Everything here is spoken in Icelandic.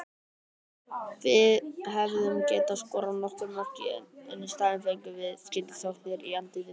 Við hefðum getað skorað nokkur mörk en í staðinn fengum við skyndisóknir í andlitið.